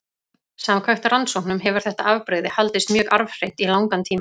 Samkvæmt rannsóknum hefur þetta afbrigði haldist mjög arfhreint í langan tíma.